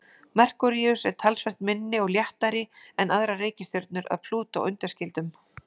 Merkúríus er talsvert minni og léttari en aðrar reikistjörnur að Plútó undanskildum.